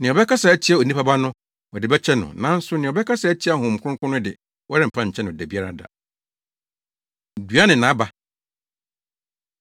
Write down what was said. Nea ɔbɛkasa atia Onipa Ba no, wɔde bɛkyɛ no. Nanso nea ɔbɛkasa atia Honhom Kronkron no de, wɔremfa nkyɛ no da biara da. Dua Ne Nʼaba